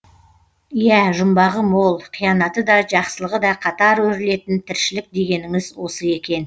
иә жұмбағы мол қиянаты да жақсылығы да қатар өрілетін тіршілік дегеніңіз осы екен